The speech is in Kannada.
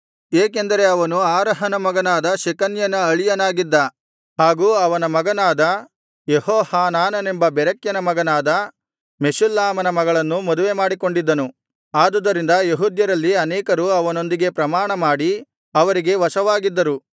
ಏಕೆಂದರೆ ಅವನು ಆರಹನ ಮಗನಾದ ಶೆಕನ್ಯನ ಅಳಿಯನಾಗಿದ್ದ ಹಾಗೂ ಅವನ ಮಗನಾದ ಯೆಹೋಹಾನಾನನೆಂಬ ಬೆರೆಕ್ಯನ ಮಗನಾದ ಮೆಷುಲ್ಲಾಮನ ಮಗಳನ್ನು ಮದುವೆ ಮಾಡಿಕೊಂಡಿದ್ದನು ಆದುದರಿಂದ ಯೆಹೂದ್ಯರಲ್ಲಿ ಅನೇಕರು ಅವನೊಂದಿಗೆ ಪ್ರಮಾಣ ಮಾಡಿ ಅವರಿಗೆ ವಶವಾಗಿದ್ದರು